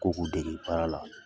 Ko' ku dege baara la.